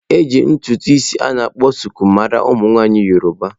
Eji ntutu isi a na akpọ suku mara ụmụ nwaanyị yọrọba.